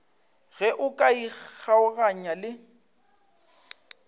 ge o ka ikgaoganya le